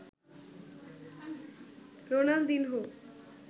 Ronaldinho